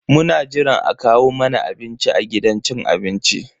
Muna jiran a kawo mana abinci a gidan cin abincin.